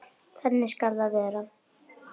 Þannig skal það verða.